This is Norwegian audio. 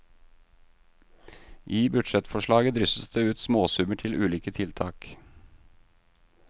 I budsjettforslaget drysses det ut småsummer til ulike tiltak.